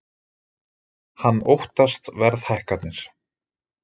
Hann óttast verðhækkanir